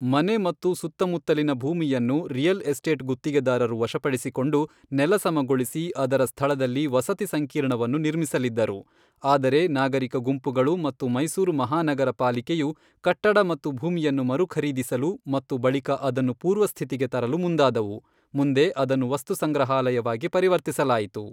ಮನೆ ಮತ್ತು ಸುತ್ತಮುತ್ತಲಿನ ಭೂಮಿಯನ್ನು ರಿಯಲ್ ಎಸ್ಟೇಟ್ ಗುತ್ತಿಗೆದಾರರು ವಶಪಡಿಸಿಕೊಂಡು, ನೆಲಸಮಗೊಳಿಸಿ ಅದರ ಸ್ಥಳದಲ್ಲಿ ವಸತಿ ಸಂಕೀರ್ಣವನ್ನು ನಿರ್ಮಿಸಲಿದ್ದರು, ಆದರೆ ನಾಗರಿಕ ಗುಂಪುಗಳು ಮತ್ತು ಮೈಸೂರು ಮಹಾನಗರ ಪಾಲಿಕೆಯು ಕಟ್ಟಡ ಮತ್ತು ಭೂಮಿಯನ್ನು ಮರುಖರೀದಿಸಲು ಮತ್ತು ಬಳಿಕ ಅದನ್ನು ಪೂರ್ವಸ್ಥಿತಿಗೆ ತರಲು ಮುಂದಾದವು, ಮುಂದೆ ಅದನ್ನು ವಸ್ತುಸಂಗ್ರಹಾಲಯವಾಗಿ ಪರಿವರ್ತಿಸಲಾಯಿತು.